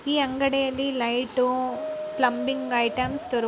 ಈ ಅಂಗಡಿಯಲ್ಲಿ light plumbing ಐಟೆಮ್ಸಗಳು ದೊರಕುತ್ತದೆ.